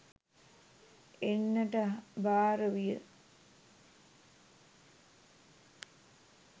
එන්නට භාර විය.